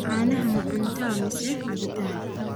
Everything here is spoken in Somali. canaha ma cunta aa mise cabitan